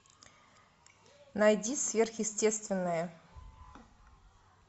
найди сверхъестественное